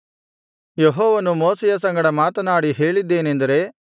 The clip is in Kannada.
ಯೆಹೋವನು ಮೋಶೆಯ ಸಂಗಡ ಮಾತನಾಡಿ ಹೇಳಿದ್ದೇನೆಂದರೆ